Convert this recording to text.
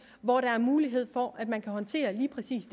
hvor der er mulighed for at man kan håndtere lige præcis